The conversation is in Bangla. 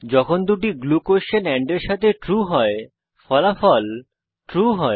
যখন দুটি গ্লু কোস্বেন এন্ড এর সাথে ট্রু হয় ফলাফল ট্রু হয়